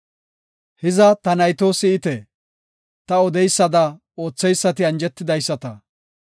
“Hiza ta nayto, si7ite; ta odeysada ootheysati anjetidaysata.